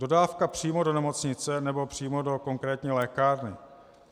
Dodávka přímo do nemocnice nebo přímo do konkrétní lékárny.